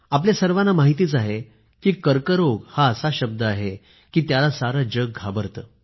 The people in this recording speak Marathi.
आपल्या सर्वाना माहितच आहे की कर्करोग हा असा शब्द आहे की त्याला सारं जग घाबरतं